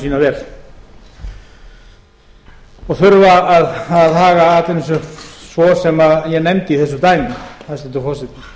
sína vel og þurfa að haga atvinnu sinni svo sem ég nefndi í þessu dæmi hæstvirtur forseti